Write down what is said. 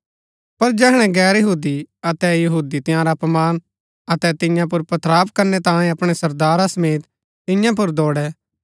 पर जैहणै गैर यहूदी अतै यहूदी तंयारा अपमान अतै तियां पुर पथराव करनै तांयें अपणै सरदारा समेत तियां पुर दौड़ै